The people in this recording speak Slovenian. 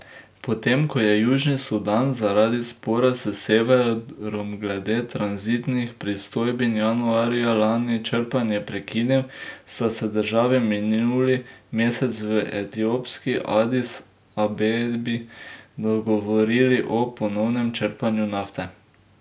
Potem ko je Južni Sudan zaradi spora s severom glede tranzitnih pristojbin januarja lani črpanje prekinil, sta se državi minuli mesec v etiopski Adis Abebi dogovorili o ponovnem črpanju nafte.